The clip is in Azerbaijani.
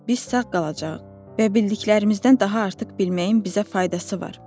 Biz sağ qalacağıq və bildiklərimizdən daha artıq bilməyin bizə faydası var.